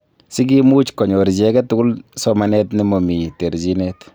Si kimuch konyor chi age tugul somanet nemomii terjinet